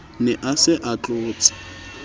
ne a se a tlotse